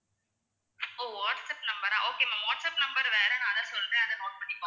ஓ WhatsApp number ஆ okay ma'am WhatsApp number வேற நான் அதை சொல்றேன் அதை note பண்ணிக்கோங்க.